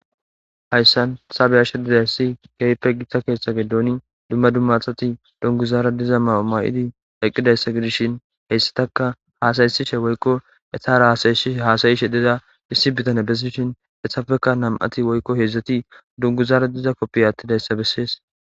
Hayssan sabeyashdidarsi geype gitta keeththa gedooni dumma dummathati dunguzaara diza mauma'idi aqqidayssa gidishin heyssataka haasaysishe woykko etara saysi haasayi she deda issi bitane bessishin esafeka nam'ati woykko heedzdzati dunguzaara diza koppiy attidayssa bessees